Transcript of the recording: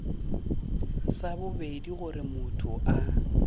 sa bobedi goba motho a